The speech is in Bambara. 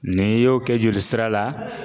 N'i y'o kɛ joli sira la